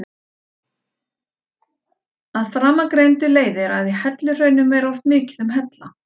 Af framangreindu leiðir að í helluhraunum er oft mikið um hella.